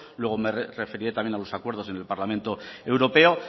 luego me referiré también a los acuerdos en el parlamento europeo